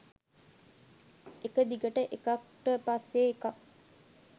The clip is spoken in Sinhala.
එක දිගට එකක්ට පස්සෙ එකක්